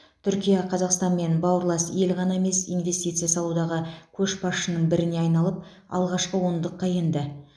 түркия қазақстанмен бауырлас ел ғана емес инвестиция салудағы көшбасшының біріне айналып алғашқы ондыққа енді